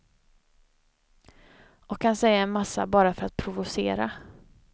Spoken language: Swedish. Och han säger en massa bara för att provocera.